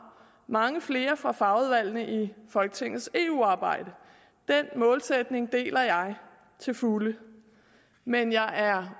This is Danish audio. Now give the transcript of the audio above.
mange flere fra fagudvalgene i folketingets eu arbejde den målsætning deler jeg til fulde men jeg er